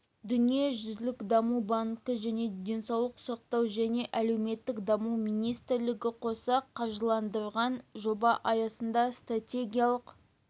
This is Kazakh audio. дүниежүзілік даму банкі және денсаулық сақтау және әлеуметтік даму министрлігі қоса қаржыландырған жоба аясында стратегиялық